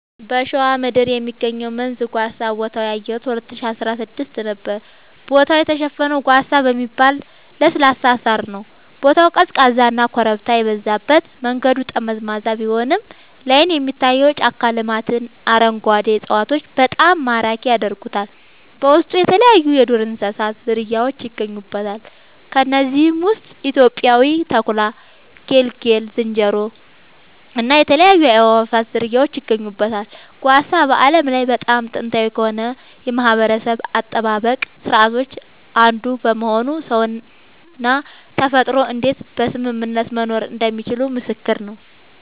በሸዋ ምድር የሚገኘው መንዝ ጓሳ ቦታውን ያየሁት 2016 ነዉ ቦታው የተሸፈነው ጓሳ በሚባል ለስላሳ ሳር ነዉ ቦታው ቀዝቃዛና ኮረብታ የበዛበት መንገዱ ጠመዝማዛ ቢሆንም ላይን የሚታየው የጫካ ልማትና አረንጓዴ እፅዋቶች በጣም ማራኪ ያደርጉታል በውስጡ የተለያይዩ የዱር እንስሳት ዝርያውች ይገኙበታል ከነዚህም ውስጥ ኢትዮጵያዊው ተኩላ ጌልጌ ዝንጀሮ እና የተለያዩ የአእዋፋት ዝርያወች ይገኙበታል። ጓሳ በዓለም ላይ በጣም ጥንታዊ ከሆኑ የማህበረሰብ አጠባበቅ ስርዓቶች አንዱ በመሆኑ ሰውና ተፈጥሮ እንዴት በስምምነት መኖር እንደሚችሉ ምስክር ነዉ